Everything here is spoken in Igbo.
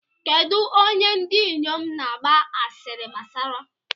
Kedụ onye ndị inyom na-agba asịrị gbasara?